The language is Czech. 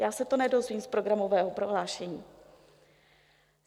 Já se to nedozvím z programového prohlášení.